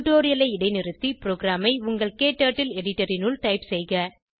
டுடோரியலை இடைநிறுத்தி ப்ரோகிராமை உங்கள் க்டர்ட்டில் எடிட்டர் இனுள் டைப் செய்க